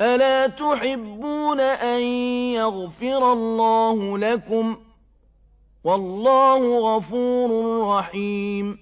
أَلَا تُحِبُّونَ أَن يَغْفِرَ اللَّهُ لَكُمْ ۗ وَاللَّهُ غَفُورٌ رَّحِيمٌ